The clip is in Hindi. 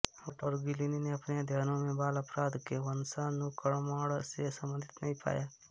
बर्ट ओर गिलिन ने अपने अध्ययनों मे बाल अपराध को वंशानुक्रमण से संबधित नहीं पाया